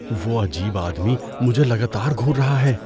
وہ عجیب آدمی مجھے لگاتار گھور رہا ہے۔